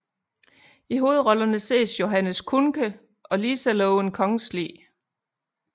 I hovedrollerne ses Johannes Kuhnke og Lisa Loven Kongsli